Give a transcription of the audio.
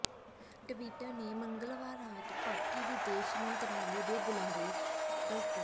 Twitter ਨੇ ਮੰਗਲਵਾਰ ਰਾਤ ਪਾਕਿ ਵਿਦੇਸ਼ ਮੰਤਰਾਲੇ ਦੇ ਬੁਲਾਰੇ ਡਾ